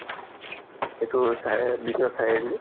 এইটো বিশ্বনাথ চাৰিআলি